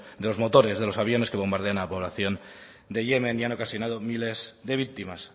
de los motores de los aviones que bombardean a la población de yemen y han ocasionado miles de víctimas